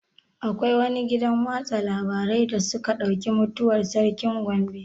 Akwai wani gidan watsa labarai da suka ɗauki mutuwar sarkin Gombe?